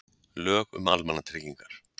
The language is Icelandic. Lög um almannatryggingar.